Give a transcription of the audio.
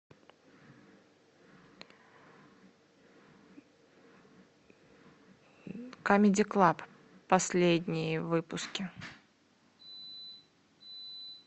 камеди клаб последние выпуски